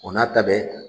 O n'a ta bɛɛ